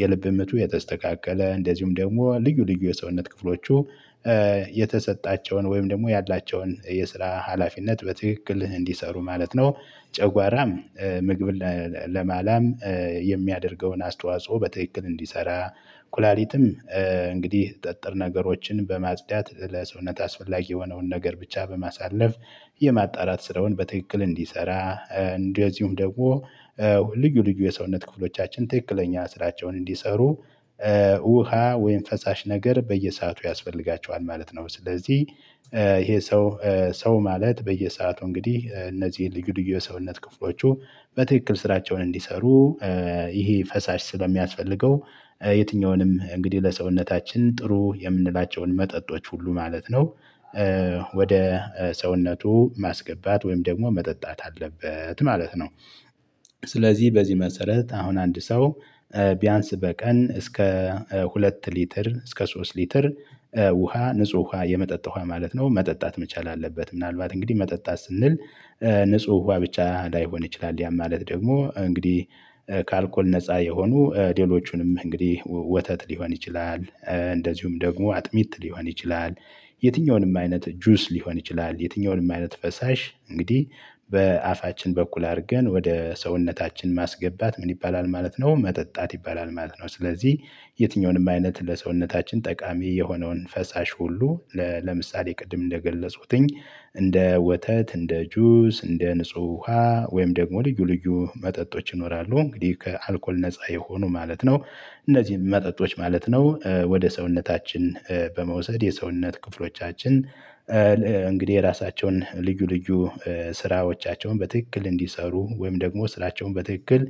የልብ ምቱ የተስተካከለ እንደዚሁም ደግሞ ልዩ ልዩ የሰውነት ክፍሎቹ የተሰጣቸውን ወይም ደግሞ ያላቸውን የስራ ሀላፊነት በትክክል እንዲሰሩ ማለት ነው። ጨጓራም ምግብን ለማላም የሚያደርገውን አስተዋጽኦ በትክክል እንዲሰራ ኩላሊትም እንግዲህ ጠጠር ነገሮችን በማጽዳት ለሰውነት አስፈላጊ የሆነውን ነገር ብቻ በማሳለፍ የማጣራት ስራውን በትክክል እንዲሰራ። እንደዚሁም ደግሞ ልዩ ልዩ የሰውነት ክፍሎቻችን ትክክለኛ ስራቸውን እንዲሰሩ ውሃ ወይም ፈሳሽ ነገር በየሰአቱ ያስፈልጋቸዋል ማለት ነው። ስለዚህ ይሄ ሰው ሰው ማለት በየሰአቱ እንግዲህ እነዚህ ልዩ ልዩ የሰውነት ክፍሎቹ በትክክል ስራቸውን እንዲሰሩ ይሄ ፈሳሽ ስለሚያስፈልገው የትኛውንም እንግዲህ ለሰውነታችን ጥሩ የምንላቸውን መጠጦች ሁሉ ማለት ነው። ወደ ሰውነቱ ማስገባት ወይም ደግሞ መጠጣት አለበት ማለት ነው። ስለዚህ በዚህ መሰረት አሁን አንድ ሰው ቢያንስ በቀን እስከ ሁለት ሊትር እስከ ሶስት ሊትር ውሃ ንጹህ ውሃ የመጠጥ ውሃ ማለት ነው መጠጣት መቻል አለበት ምናልባት እንግዲህ መጠጣት ስንል። ንጹህ ውሃ ብቻ ላይሆን ይችላል ያ ማለት ደግሞ እንግዲህ ከአልኮል ነፃ የሆኑ ሌሎቹንም እንግዲህ ወተት ሊሆን ይችላል። እንደዚሁም ደግሞ አጥሚት ሊሆን ይችላል። የትኛውንም አይነት ጁስ ሊሆን ይችላል የትኛውንም አይነት ፈሳሽ እንግዲህ በአፋችን በኩል አርገን ወደ ሰውነታችን ማስገባት ምን ይባላል ማለት ነው? መጠጣት ይባላል ማለት ነው። ስለዚህ የትኛውንም አይነት ለሰውነታችን ጠቃሚ የሆነውን ፈሳሽ ሁሉ። ለምሳሌ ቅድም እንደገለጽኩትኝ እንደ ወተት እንደ ጁስ እንደ ንጹህ ውሃ ወይም ደግሞ ልዩ ልዩ መጠጦች ይኖራሉ እንግዲህ ከአልኮል ነፃ የሆኑ ማለት ነው። እነዚህም መጠጦች ማለት ነው ወደ ሰውነታችን በመውሰድ የሰውነት ክፍሎቻችን እንግዲህ የራሳቸውን ልዩ ልዩ ስራዎቻቸውን በትክክል እንዲሰሩ ወይም ደግሞ ስራቸውን በትክክል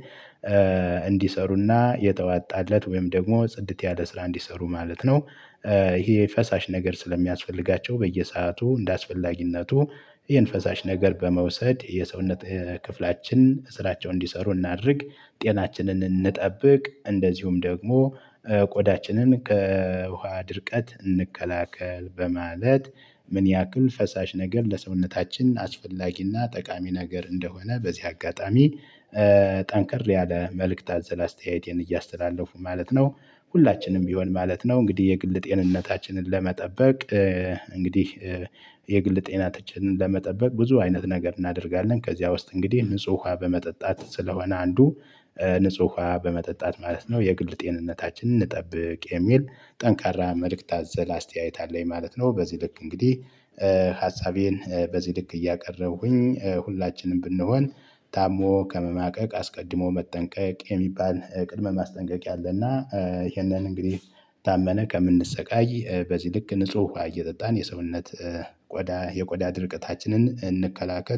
እንዲሰሩ እና የተዋጣለት ወይም ደግሞ ጽድት ያለ ስራ እንዲሰሩ ማለት ነው። ይሄ ፈሳሽ ነገር ስለሚያስፈልጋቸው በየሰአቱ እንደ አስፈላጊነቱ ይሄን ፈሳሽ ነገር በመውሰድ የሰውነት ክፍላችን ስራቸውን እንዲሰሩ እናድርግ። ጤናችንን እንጠብቅ እንደዚሁም ደግሞ ቆዳችንን ከውሃ ድርቀት እንከላከል። በማለት ምን ያክል ፈሳሽ ነገር ለሰውነታችን አስፈላጊና ጠቃሚ ነገር እንደሆነ በዚህ አጋጣሚ ጠንከር ያለ መልእክት አዘል አስተያየቴን እያስተላለፍኩ ማለት ነው። ሁላችንም ቢሆን ማለት ነው። እንግዲህ የግል ጤንነታችንን ለመጠበቅ እንግዲህ የግል ጤናችንን ለመጠበቅ ብዙ አይነት ነገር እናደርጋለን ከዚያ ውስጥ እንግዲህ ንጹህ ውሃ በመጠጣት ስለሆነ አንዱ ንጹህ ውሃ በመጠጣት ማለት ነው። የግል ጤንነታችንን እንጠብቅ የሚል ጠንካራ መልእክት አዘል አስተያየት አለኝ ማለት ነው። በዚህ ልክ እንግዲህ በዚህ ልክ እያቀረብኩኝ ሁላችንም ብንሆን። ታሞ ከመማቀቅ አስቀድሞ መጠንቀቅ የሚባል ቅድመ ማስጠንቀቅያ አለ። እና ይሄንንን እንግዲህ ታመን ከምንሰቃይ በዚህ ልክ ንጹህ እየጠጣን የሰውነት ቆዳ የቆዳ ድርቀታችንን እንከላከል